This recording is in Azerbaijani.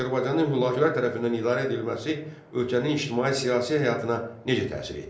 Azərbaycanın Hülakülər tərəfindən idarə edilməsi ölkənin ictimai-siyasi həyatına necə təsir etdi?